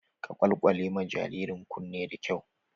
Ka kwalkwale ma jaririn kunne da kyau!